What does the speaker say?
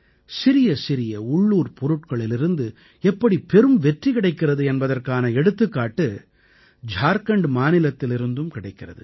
சிறிய சிறிய உள்ளூர்ப் பொருட்களிலிருந்து எப்படி பெரும் வெற்றி கிடைக்கிறது என்பதற்கான எடுத்துக்காட்டு ஜார்க்கண்ட் மாநிலத்திலிருந்தும் கிடைக்கிறது